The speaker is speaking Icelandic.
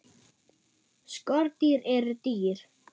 Skordýr eru dýr.